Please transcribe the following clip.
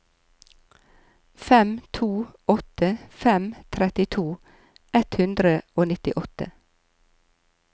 fem to åtte fem trettito ett hundre og nittiåtte